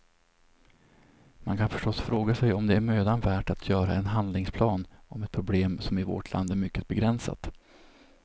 Man kan förstås fråga sig om det är mödan värt att göra en handlingsplan om ett problem som i vårt land är mycket begränsat.